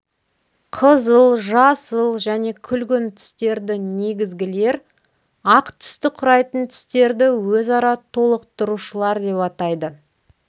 қызыл жасыл және күлгін түстерді негізгілер ақ түсті құрайтын түстерді өзара толықтырушылар деп атайды